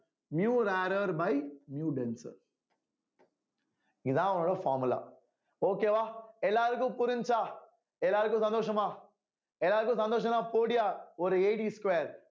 mu rarer by mu denser இதான் அவனோட formula okay வா எல்லாருக்கும் புரிஞ்சுச்சா எல்லாருக்கும் சந்தோஷமா எல்லாருக்கும் சந்தோஷம்னா போடுயா ஒரு square